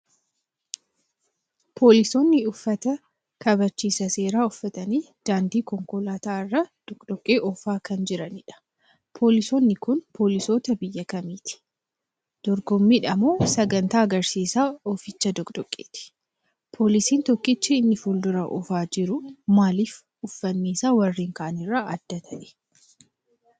Poolisoonni uffata kabachiisa seeraa uffatanii daandii konkolaataa irra doqdoqqee oofaa kan jiranidha. Poolisoonni kun poolisoota biyya kamiiti? dorgommiidha moo sagantaa agarsiisa ooficha doqdoqqeeti? Poolisiin Tokkichi inni fuuldurarra oofaa jiru maalif uffanni isaa warreen kaanirraa adda ta'e?